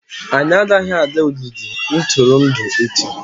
anyị agaghị aga ogige ntụrụndụ echi!